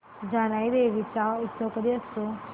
जानाई देवी चा उत्सव कधी असतो